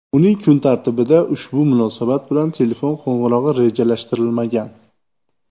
Uning kun tartibida ushbu munosabat bilan telefon qo‘ng‘irog‘i rejalashtirilmagan.